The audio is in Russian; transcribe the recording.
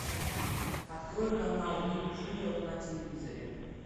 открой канал ник джуниор на телевизоре